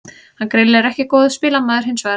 Hann er greinilega ekki góður spilamaður hinsvegar.